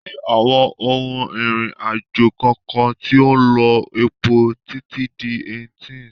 kò sí àwọn ohun ìrìn àjò kankan tí ó ń lo epo títí di 1800.